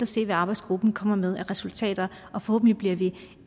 se hvad arbejdsgruppen kommer med af resultater forhåbentlig bliver vi